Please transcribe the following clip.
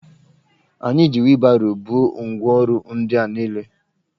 Anyi ji wịlbaro buo ngwa orụ ndi a niile